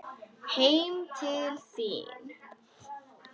Heim til þín?